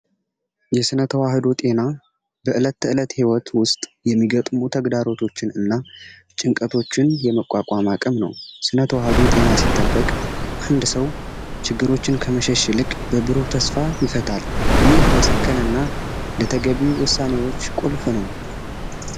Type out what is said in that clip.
የስነ ተዋህዶ ጤና በዕለት ተዕለት ህይወት ውስጥ የሚገጥሙ ተግዳሮቶችን እና ጭንቀቶችን የመቋቋም አቅም ነው ስነ ተዋህዶ ጤና ሲጠበቅ አንድ ችግሮችን ከመሸሽ ይልቅ በብሩ ተስፋ ይፈጣል ይህ ለሰከነና ለተገቢው ውሳኔዎች ቁልፍ ነው።